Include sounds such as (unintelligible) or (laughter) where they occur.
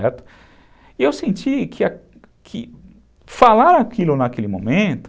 (unintelligible) E eu senti que falar aquilo naquele momento...